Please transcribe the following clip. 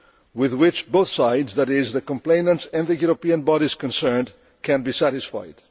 with which both sides that is, the complainant and the European bodies concerned can be satisfied.